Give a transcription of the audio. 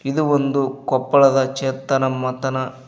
ಇದು ಒಂದು ಕೊಪ್ಪಳದ ಚೇತನ ಮಾತನ--